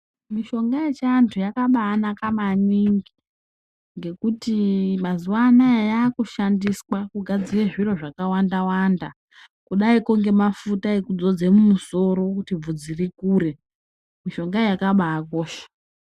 Mishonga yechiantu yakabaanaka maningi ngekuti mazuva anaya yaakushandiswa kugadzire zviro zvakawanda-wanda. Kudaiko ngemafuta ekudzodze mumusoro kuti bvudzi rikure. Mishonga iyi yakabaakosha.